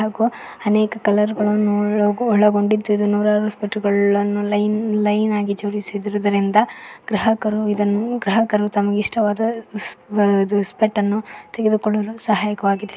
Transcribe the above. ಹಾಗು ಅನೇಕ ಕಲರ್ ಗಳನ್ನು ಒಳಗೊಂಡಿದ್ದು ನೂರಾರು ಸ್ಪೆಕ್ಟ್ ಗಳನ್ನು ಲೈನ್ ಲೈನ್ ಆಗಿ ಜೋಡಿಸಿರುವುದರಿಂದ ಗ್ರಾಹಕರು ಇದನ್ನು ಗ್ರಾಹಕರು ತಮಗೆ ಇಷ್ಟವಾದ ಸ್ಪೆಕ್ಟ್ ಅನ್ನು ತೆಗೆದುಕೊಳ್ಳಲು ಸಹಾಯಕವಾಗಿದೆ.